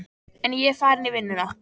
En ég er farinn í vinnuna.